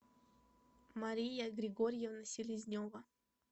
мария григорьевна селезнева